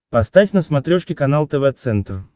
поставь на смотрешке канал тв центр